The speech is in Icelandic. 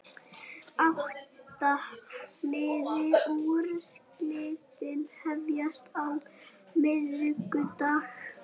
Átta liða úrslitin hefjast á miðvikudag